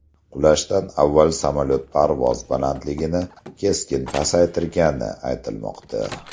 Qulashdan avval samolyot parvoz balandligini keskin pasaytirgani aytilmoqda .